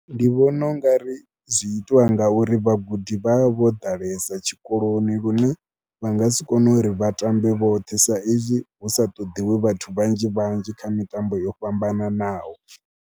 Ndi vhona u nga ri zwi itiwa ngauri vhagudi vha vha vho ḓalesa tshikoloni lune vha nga si kone uri vhatambe vhoṱhe saizwi hu sa ṱoḓiwi vhathu vhanzhi vhanzhi kha mitambo yo fhambananaho.